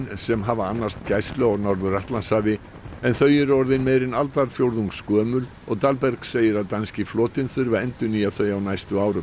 sem hafa annast gæslu á Norður Atlantshafi en þau eru meira en aldarfjórðungs gömul og segir að danski flotinn þurfi að endurnýja þau á næstu árum